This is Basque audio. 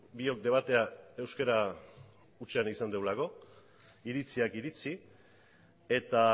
biok debatea euskara hutsean izan dugulako iritziak iritzi eta